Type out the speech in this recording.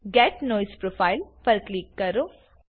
gate noise profile પર click કરો